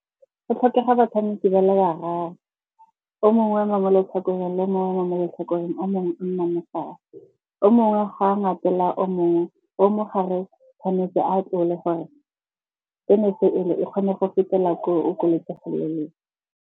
Go tlhokega batshameki ba le bararo. O mongwe o ema mo letlhokoreng le, o mongwe o ema mo letlhokoreng, o mongwe o nna mo gare. O mongwe ga a latela o mongwe, o mo gare tshwanetse a tlole gore tennis-e e le e kgone go fetela ko letlhakoreng le lengwe.